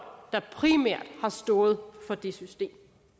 der primært har stået for det system